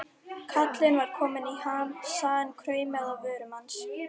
Kallinn var kominn í ham, sagan kraumaði á vörum hans.